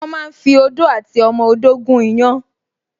Wọ́n máa ń fi odó àti ọmọ odó gún iyán